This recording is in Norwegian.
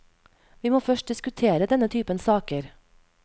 Vi må først diskutere denne typen saker.